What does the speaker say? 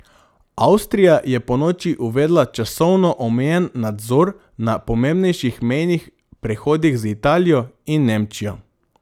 Avstrija je ponoči uvedla časovno omejen nadzor na pomembnejših mejnih prehodih z Italijo in Nemčijo.